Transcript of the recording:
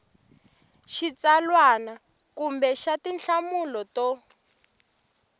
xitsalwana kumbe xa tinhlamulo to